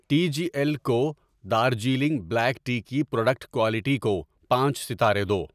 T G L کو Darjeeling black tea کی product quality کو پانچ ستارے دو